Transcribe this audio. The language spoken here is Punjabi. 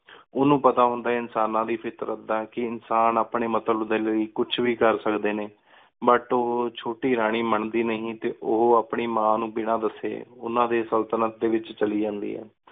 ਉਨੂ ਪਤਾ ਹੁੰਦਾ ਇਨਸਾਨਾ ਦੀ ਫਿਤਰਤ ਦਾ ਕੀ ਇਨਸਾਨ ਅਪਨ੍ਯਨ ਮਤਲਬ ਡੀ ਲੈ ਕੁਛ ਵੀ ਕਰ ਸਕਦੀ ਨਯਨ but ਓਹੋ ਛੁਟੀ ਰਾਨੀ ਮੰਦੀ ਨੀ ਟੀ ਓ ਆਪਣੀ ਮਨ ਨੂ ਬਿਨਾ ਦਾਸੀ ਉਨਾ ਦੀ ਸਲ੍ਤਨਤ ਡੀ ਵੇਚ ਚਲੀ ਜੰਡੀ ਆਯ